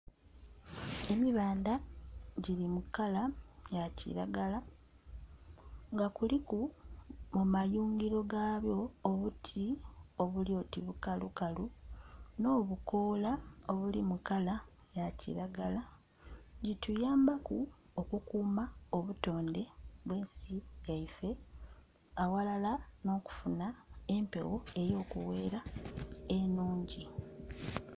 Emibandha giri mu kala ya kilagala nga kuliku mu mayungiro gaabwo obuti obuli oti bukalu kalu no'bukola obuli mu kala ya kilagala, gituyambaku oku kuuma obutonde bwe ensi yaifee aghalala no'okufuna empewo eyo kugheera enhungi.